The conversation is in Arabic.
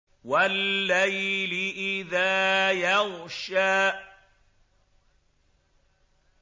وَاللَّيْلِ إِذَا يَغْشَىٰ